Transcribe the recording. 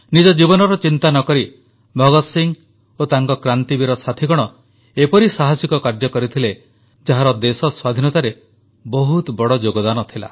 ନିଜ ଜୀବନର ଚିନ୍ତା ନକରି ଭଗତ ସିଂହ ଓ ତାଙ୍କ କ୍ରାନ୍ତିବୀର ସାଥୀଗଣ ଏପରି ସାହସିକ କାର୍ଯ୍ୟ କରଥିଲେ ଯାହାର ଦେଶ ସ୍ୱାଧୀନତାରେ ବହୁତ ବଡ଼ ଯୋଗଦାନ ଥିଲା